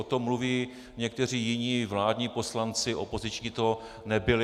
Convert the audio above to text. O tom mluví někteří jiní, vládní poslanci, opoziční to nebyli.